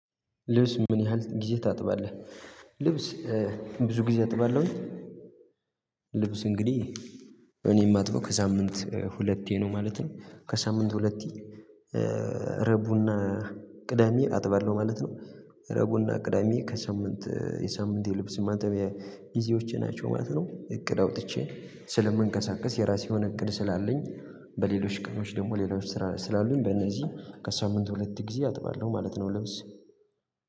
ልብስ ምን ያህል ጊዜ ታጥባለህ? ልብስ ብዙ ጊዜ አጥባለሁኝ። ልብስ እንግዲህ እኔ የማጥበው ከሳምንት ሁለቴ ነው ማለት ነው። ከሳምንት ሁለቴ ረቡና ቅዳሜ አጥባለሁ ማለት ነው። ረቡና ቅዳሜ ከሳምንት የሳምንቴ ልብስ ማጠቢያ ጊዜዎቼ ናቸው ማለት ነው። እቅድ አውጥቼ ስለምንቀሳቀስ የራሴ የሆነ እቅድ ስላለኝ በሌሎች ቀኖች ደግሞ ሌሎች ስራ ስላሉኝ በእነዚህ ከሳምንት ሁለት ጊዜ አጥባለሁ ማለት ነው። ልብስ